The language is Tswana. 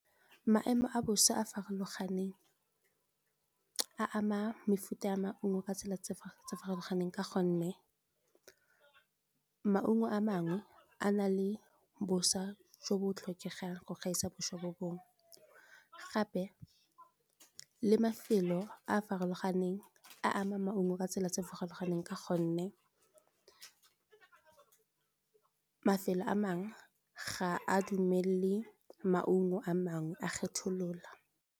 Maemo a bosa a a farologaneng a ama mefuta ya maungo ka tsela tse di farologaneng ka gonne maungo a mangwe a na le bosa jo bo tlhokegang go gaisa bosa bo bongwe, gape le mafelo a a farologaneng a ama maungo ka tsela tse di farologaneng ka gonne mafelo a mangwe ga a dumelele maungo a mangwe a kgetholola.